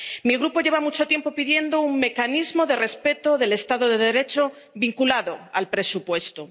Mi Grupo lleva mucho tiempo pidiendo un mecanismo de respeto del Estado de Derecho, vinculado al presupuesto.